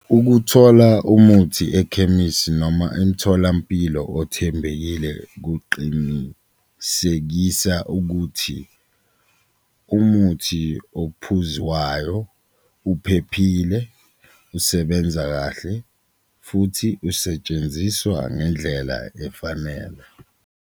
Ukuthola umuthi ekhemisi noma emtholampilo othembekile kuqinisekisa ukuthi umuthi ophuzwayo uphephile, usebenza kahle futhi usetshenziswa ngendlela efanele.